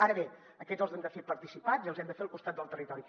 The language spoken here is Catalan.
ara bé aquests els hem de fer participats i els hem de fer al costat del territori